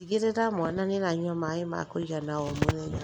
Tigĩrĩra mwana nĩaranyua maĩ ma kũigana o mũthenya